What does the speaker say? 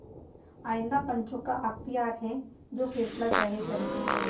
आइंदा पंचों का अख्तियार है जो फैसला चाहें करें